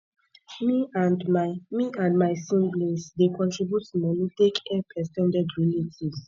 me and my me and my siblings dey contribute moni take help ex ten ded relatives